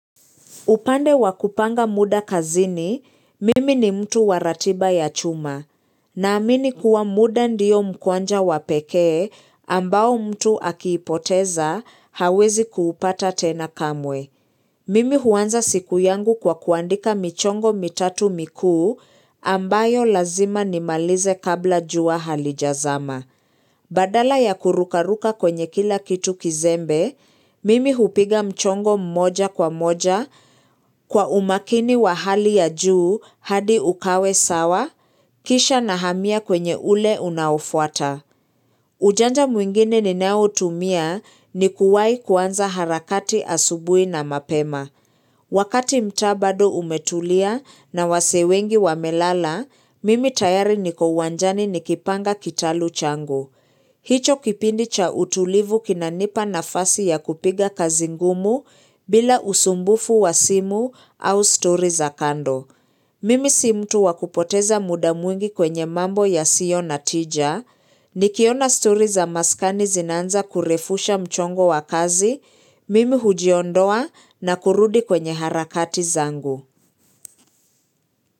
Upande wakupanga muda kazini, mimi ni mtu waratiba ya chuma. Na amini kuwa muda ndiyo mkwanja wapekee ambao mtu akiipoteza hawezi kuupata tena kamwe. Mimi huanza siku yangu kwa kuandika michongo mitatu mikuu ambayo lazima nimalize kabla jua halijazama. Badala ya kurukaruka kwenye kila kitu kizembe, mimi hupiga mchongo mmoja kwa moja kwa umakini wa hali ya juu hadi ukawe sawa, kisha na hamia kwenye ule unaofuata. Ujanja mwingine ninao tumia ni kuwahi kuanza harakati asubui na mapema. Wakati mtaa bado umetulia na wasee wengi wamelala, mimi tayari niko uwanjani nikipanga kitalu changu. Hicho kipindi cha utulivu kinanipa nafasi ya kupiga kazi ngumu bila usumbufu wa simu au story za kando. Mimi si mtu wakupoteza muda mwingi kwenye mambo ya sio na tija, nikiona stori za maskani zinanza kurefusha mchongo wakazi, mimi hujiondoa na kurudi kwenye harakati zangu.